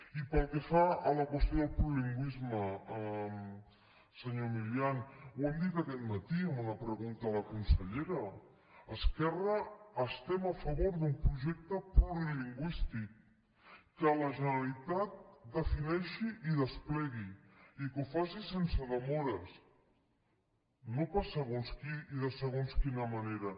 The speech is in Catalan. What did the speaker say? i pel que fa a la qüestió del plurilingüisme senyor milián ho hem dit aquest matí en una pregunta a la consellera esquerra estem a favor d’un projecte plurilingüístic que la generalitat el defineixi i el desplegui i que ho faci sense demores no per a segons qui i de segons quina manera